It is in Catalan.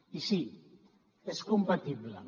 i sí és compatible